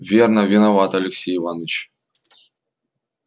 верно виноват алексей иваныч